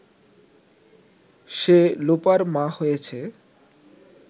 সে লোপার মা হয়েছে